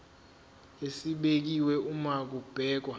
esibekiwe uma kubhekwa